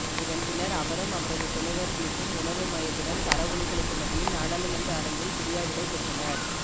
இதன் பின்னர் அவரும் அவரது துணைவர் பிலிப்பும் உணர்வு மயத்துடன் கரவொலிகளுக்கு மத்தியில் நாடாளுமன்ற அரங்கில் பிரியாவிடை பெற்றனர்